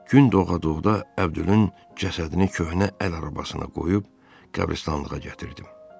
Gün doğa doğa Əbdülün cəsədini köhnə əl arabasına qoyub qəbristanlığa gətirdim.